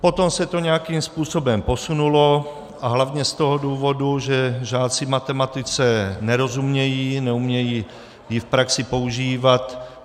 Potom se to nějakým způsobem posunulo a hlavně z toho důvodu, že žáci matematice nerozumějí, neumějí ji v praxi používat.